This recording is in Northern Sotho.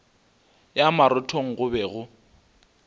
ya marothong go be go